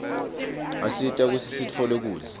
asita kutsi sitfole kudla